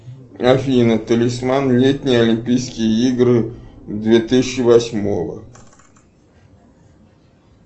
афина талисман летние олимпийские игры две тысячи восьмого